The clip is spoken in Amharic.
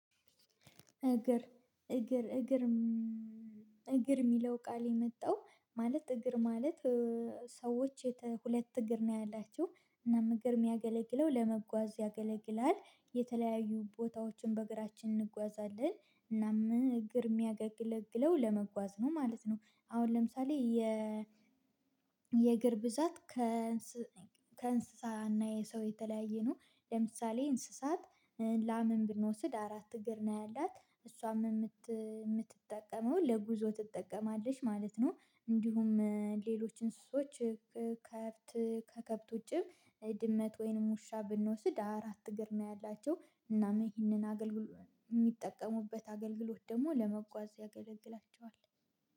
እግር እግር እግር እግር የሚለው ቃል የመጣው ማለት እግር ማለት ሰዎች ሁለት እግር ነው ያላችው እና እግር የሚያገለግለው ለመጓዝ ያገለግላል የተለያዩ ቦታዎችን በእግራችን እንጓዛለን እና ምን እግር የሚያገለግለው ለመጓዝ ነው ማለት ነው አሁን ለምሳሌ የ የእግር ብዛት ከ ስ ከእንስሳና የሰው የተለያየ ነው። ለምሳሌ እንስሳት ላምን ብንወስድ አራት እግር ነው ያላት። እሷም የምትጠቀመው ለጉዞ ትጠቀማለች ማለት ነው እንዲሁም ሌሎች እንስሶች ከከብት ከከብት ውጪ ድመት ወይንም ውሻ ብንወስድ አራት እግር ነው ያላቸው እናም ይህንን አገልግሎት የሚጠቀሙበት አገልግሎት ደግሞ ለመጓዝ ያገለግላቸዋል